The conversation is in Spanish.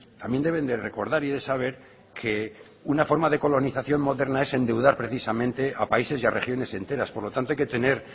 también deben de recordar y de saber que una forma de colonización moderna es endeudar precisamente a países y a regiones enteras por lo tanto hay que tener